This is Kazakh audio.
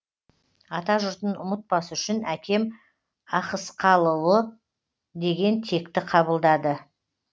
атажұртын ұмытпас үшін әкем ахыскалыұлы деген текті қабылдады